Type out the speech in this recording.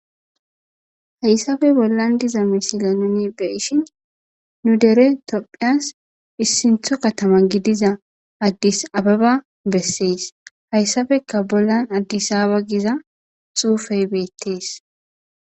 hayssafe bollan diza misila nuni be'ishin nu dere topphiyas issintho katama gidiza addis ababa bessees hayssabeka bollan addisaaba giza xuufey beettes